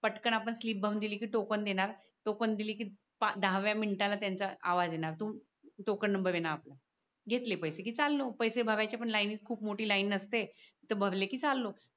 पटकन आपण स्लीप भरून दिली कि टोकन देणार टोकन दिली कि दहाव्या मिनिटाला त्यांचा आवाज येणार तो टोकन नबर आहे न आपला घेतले पैसे कि चाललो पैशे भरायच्या पण लाईनीत खूप मोठी लाईन नसते ते भरले कि चाललो